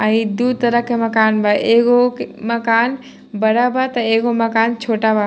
अ इ दू तरह के मकान बा एगो के मकान बड़ा बा तो एगो मकान छोटा बा।